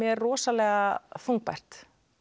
rosalega þungbært